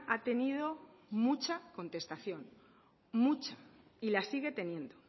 ha tenido mucha contestación mucha y la sigue teniendo